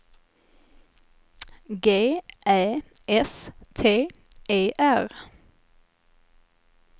G Ä S T E R